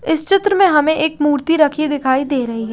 इस चित्र में हमें एक मूर्ति रखी दिखाई दे रही है।